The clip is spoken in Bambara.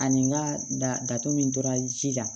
Ani n ka dato min tora ji la